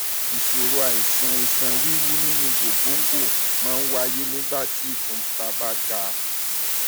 ìṣòro àìsàn iṣan wíwú nínú gògóńgò máa ń wáyé nígbàtí ìfúnpá bá ga ìfúnpá bá ga